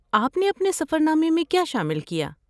آپ نے اپنے سفر نامے میں کیا شامل کیا؟